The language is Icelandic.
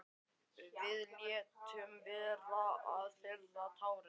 Við létum vera að þerra tárin.